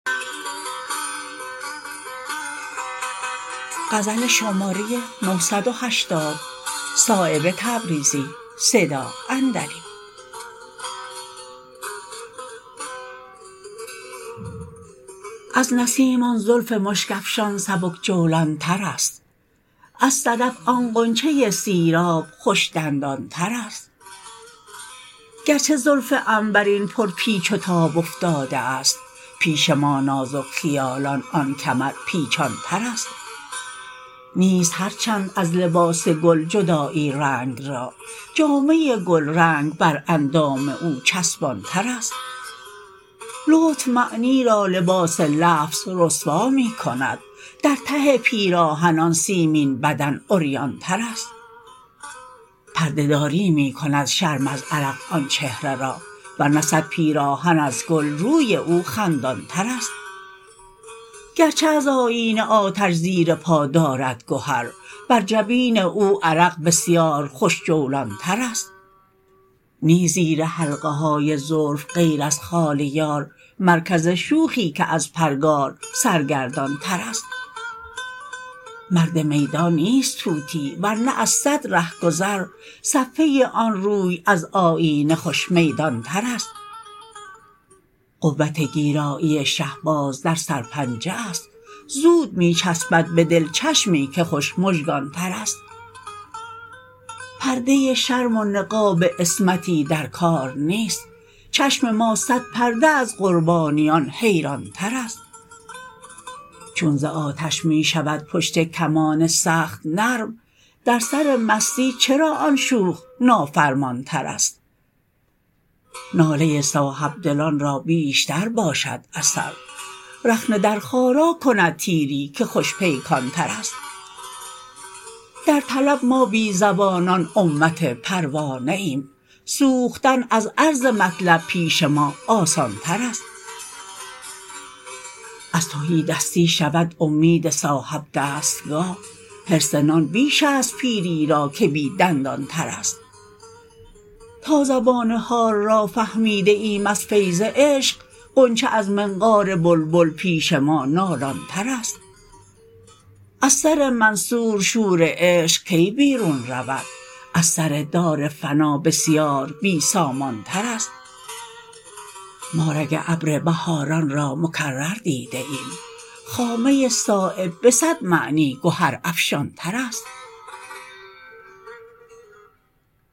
از نسیم آن زلف مشک افشان سبک جولانترست از صدف آن غنچه سیراب خوش دندانترست گرچه زلف عنبرین پر پیچ و تاب افتاده است پیش ما نازک خیالان آن کمر پیچانترست نیست هر چند از لباس گل جدایی رنگ را جامه گلرنگ بر اندام او چسبانترست لطف معنی را لباس لفظ رسوا می کند در ته پیراهن آن سیمین بدن عریانترست پرده داری می کند شرم از عرق آن چهره را ورنه صد پیراهن از گل روی او خندانترست گرچه از آیینه آتش زیر پا دارد گهر بر جبین او عرق بسیار خوش جولانترست نیست زیر حلقه های زلف غیر از خال یار مرکز شوخی که از پرگار سرگردانترست مرد میدان نیست طوطی ورنه از صد رهگذر صفحه آن روی از آیینه خوش میدانترست قوت گیرایی شهباز در سرپنجه است زود می چسبد به دل چشمی که خوش مژگانترست پرده شرم و نقاب عصمتی در کار نیست چشم ما صد پرده از قربانیان حیرانترست چون ز آتش می شود پشت کمان سخت نرم در سر مستی چرا آن شوخ نافرمانترست ناله صاحبدلان را بیشتر باشد اثر رخنه در خارا کند تیری که خوش پیکانترست در طلب ما بی زبانان امت پروانه ایم سوختن از عرض مطلب پیش ما آسانترست از تهیدستی شود امید صاحب دستگاه حرص نان بیش است پیری را که بی دندانترست تا زبان حال را فهمیده ایم از فیض عشق غنچه از منقار بلبل پیش ما نالانترست از سر منصور شور عشق کی بیرون رود از سر دار فنا بسیار بی سامانترست ما رگ ابر بهاران را مکرر دیده ایم خامه صایب به صد معنی گهر افشانترست